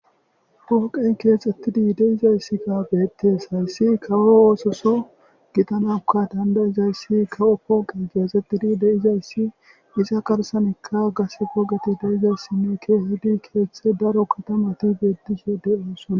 Pooqey keexxettidi deizayssi ga beettes hayssi kawo oososo gitanakka dandayizayssi kawo pooqey keexxettidi deizayssi isa garsanekka gase pogati deyizayssinne keehedi keeththe daro katamati beedishe de7osona.